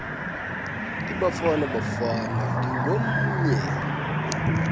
ibafana bafana ndingomnye